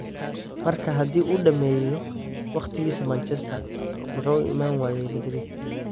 Marka haddii uu dhammeeyo waqtigiisa Manchester, muxuu u iman waayay Madrid?